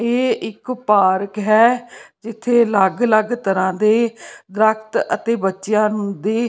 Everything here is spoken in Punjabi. ਇਹ ਇੱਕ ਪਾਰਕ ਹੈ ਜਿੱਥੇ ਅਲੱਗ ਅਲੱਗ ਤਰ੍ਹਾਂ ਦੇ ਦਰਖ਼ਤ ਅਤੇ ਬੱਚਿਆਂ ਨੂੰ ਦੀ --